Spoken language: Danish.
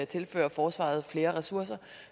tilfører forsvaret flere ressourcer